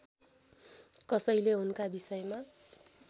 कसैले उनका विषयमा